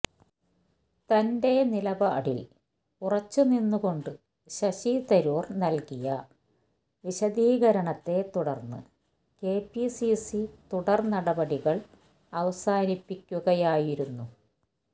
തന്റെ നിലപാടില് ഉറച്ചുനിന്നുകൊണ്ട് ശശി തരൂര് നല്കിയ വിശദീകരണത്തെ തുടര്ന്ന് കെപിസിസി തുടര് നടപടികള് അവസാനിപ്പിക്കുകയായിരുന്നു